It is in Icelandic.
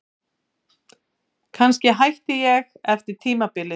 Kannski hætti ég eftir tímabilið.